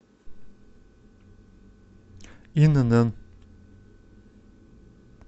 инн